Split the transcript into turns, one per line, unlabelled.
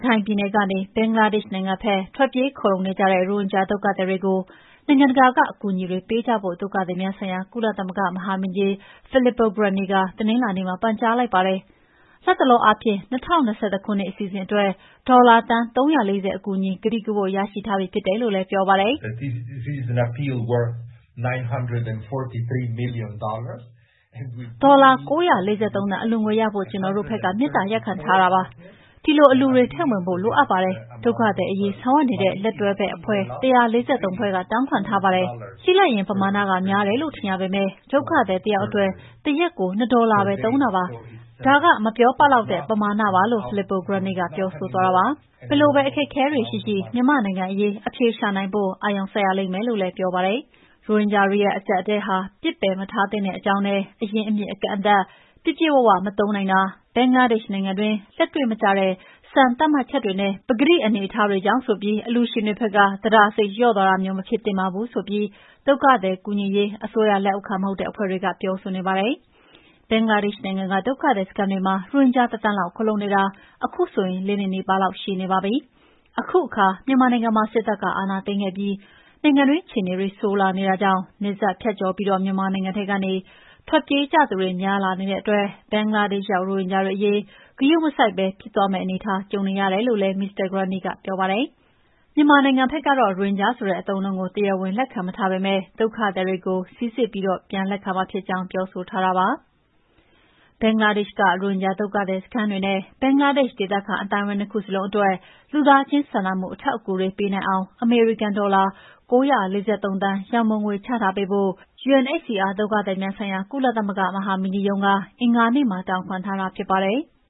ခိုင်ပြည်နယ်ကနေ ဘင်္ဂလားဒေ့ရှ်နိုင်ငံဘက် ထွက်ပြေးခိုလှုံနေကြတဲ့ ရိုဟင်ဂျာ ဒုက္ခသည်တွေကို နိုင်ငံတကာက အကူအညီတွေ ပေးကြဖို့ ဒုက္ခသည်များဆိုင်ရာ ကုလသမဂ္ဂမဟာမင်းကြီး Filippo Grandi က တနင်္လာနေ့မှာ ပန်ကြားလိုက်ပါတယ်။ လတ်တလောအားဖြင့် ၂၀၂၁ ခုနှစ်အစီအစဉ်တွေအတွက် ဒေါ်လာသန်း ၃၄၀ အကူအညီ ကတိကဝတ်ရရှိထားပြီးဖြစ်တယ်လို့လည်း ပြောပါတယ်။ “ဒေါ်လာ ၉၄၃ သန်း အလှူငွေရဖို့ ကျနော်တို့ဘက်က မေတ္တာရပ်ခံထားတာပါ။ ဒီလို အလှူတွေ ထည့်ဝင်ဖို့ လိုအပ်ပါတယ်။ ဒုက္ခသည်အရေး ဆောင်ရွက်နေတဲ့ လက်တွဲဘက် အဖွဲ့ ၁၄၃ ဖွဲ့က တောင်းခံထားပါတယ်။ ကြည့်လိုက်ရင်ပမာဏ များတယ်လို့ ထင်ရပေမယ့် ဒုက္ခသည်တယောက်အတွက် တရက်ကို နှစ်ဒေါ်လာပဲ သုံးတာပါ။ ဒါက မပြောပလောက်တဲ့ ပမာဏပါ။" လို့ Filippo Grandi ကပြောဆိုသွားတာပါ။ ဘယ်လိုပဲ အခက်အခဲတွေ ရှိရှိ မြန်မာနိုင်ငံအရေး အဖြေရှာနိုင်ဖို့ကို အာရုံစိုက်ရလိမ့်မယ်ဆိုပြီးတော့လည်း ပြောဆိုပါတယ်။ ရိုဟင်ဂျာတွေရဲ့ အကျပ်အတည်းဟာ ပစ်ပယ်မထားသင့်တဲ့အကြောင်းနဲ့ အရင်းအမြစ် အကန့်အသတ် ပြည့်ပြည့်၀ မသုံးနိုင်တာ၊ ဘင်္ဂလားဒေ့ရှ် နိုင်ငံအတွင်း လက်တွေ့မကျတဲ့ စံသတ်မှတ်ချက်တွေနဲ့ ပကတိအခြေအနေအထားတွေကြောင့် ဆိုပြီး အလှူရှင်တွေဘက်က သဒ္ဒါစိတ်လျော့ သွားတာမျိုး မဖြစ်သင့်ပါဘူးဆိုပြီး ဒုက္ခသည် ကူညီရေး အစိုးရလက်အောက်ခံ မဟုတ်တဲ့အဖွဲ့တွေကလည်း ပြောဆိုပေနါတယ်။ ဘင်္ဂလားဒေ့ရှ်နိုင်ငံက ဒုက္ခသည်စခန်းတွေမှာ ရိုဟင်ဂျာ ၁,၀၀၀,၀၀၀ လောက် ခိုလှုံနေတာ အခုဆို ၄ နှစ်နီးပါးလောက် ရှိနေပြီဖြစ်ပါတယ်။ အခုအခါ မြန်မာနိုင်ငံမှာ စစ်တပ်ကအာဏာသိမ်းခဲ့ပြီး နိုင်ငံတွင်း အခြေအနေတွေ ဆိုးလာနေတာကြောင့် နယ်စပ်ကျော်ဖြတ်ပြီး မြန်မာနိုင်ငံထဲကနေ ထွက်ပြေးကြသူတွေ များလာနေတာတဲ့အတွက် ဘင်္ဂလားဒေ့ရှ်ရောက် ရိုဟင်ဂျာတွေ အရေး ဂရုမစိုက်ဘဲ ဖြစ်သွားမယ့်အနေအထား ကြုံနေရတယ်လို့လည်း မစ္စတာ Grandi ကပြောပါတယ်။ မြန်မာနိုင်ငံဘက်ကတော့ ရိုဟင်ဂျာဆိုတဲ့ အသုံးအနှုန်းကို တရားဝင်လက်ခံမထားပေမဲ့ ဒုက္ခသည်တွေကို စိစစ်ပြီး ပြန်လက်ခံမှာ ဖြစ်ကြောင်း ပြောထားတာပါ။ ဘင်္ဂလားဒေ့ရှ်က ရိုဟင်ဂျာဒုက္ခသည် စခန်းတွေနဲ့ ဘင်္ဂလားဒေ့ရှ် ဒေသခံအသိုင်းဝိုင်း ၂ ခုစလုံးအတွက် လူသားချင်းစာနာမှု အထောက်အကူတွေ ပေးနိုင်အောင် အမေရိကန်ဒေါ်လာ ၉၄၃ သန်း ရန်ပုံငွေချထားပေးဖို့ UNHCR ဒုက္ခသည်များ ဆိုင်ရာ ကုလသမဂ္ဂမဟာမင်းကြီးရုံးက အင်္ဂါနေ့မှာ တောင်းခံတာဖြစ်ပါတယ်။